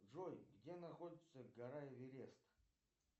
джой где находится гора эверест